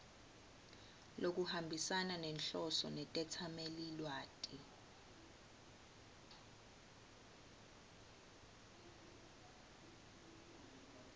lokuhambisana nenhloso netetsamelilwati